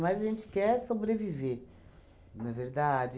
a gente quer sobreviver, não é verdade?